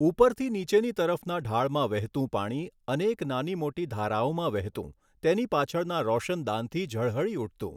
ઉપરથી નીચેની તરફના ઢાળમાં વહેતું પાણી અનેક નાની મોટી ધારાઓમાં વહેતું તેની પાછળનાં રોશનદાનથી જળહળી ઉઠતું.